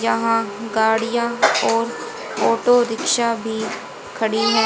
यहां गाड़ियां और ऑटो रिक्शा भी खड़ी है।